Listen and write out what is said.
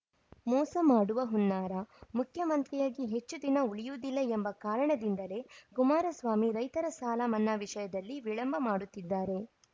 ಮೋಸ ಮಾಡುವ ಹುನ್ನಾರ ಮುಖ್ಯಮಂತ್ರಿಯಾಗಿ ಹೆಚ್ಚು ದಿನ ಉಳಿಯುವುದಿಲ್ಲ ಎಂಬ ಕಾರಣದಿಂದಲೇ ಕುಮಾರಸ್ವಾಮಿ ರೈತರ ಸಾಲ ಮನ್ನಾ ವಿಷಯದಲ್ಲಿ ವಿಳಂಬ ಮಾಡುತ್ತಿದ್ದಾರೆ